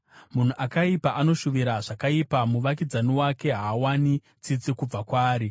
Munhu akaipa anoshuvira zvakaipa; muvakidzani wake haawani tsitsi kubva kwaari.